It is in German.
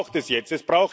Was braucht es jetzt?